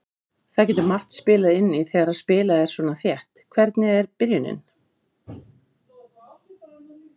Það getur margt spilað inn í þegar spilað er svona þétt: Hvernig er byrjunin?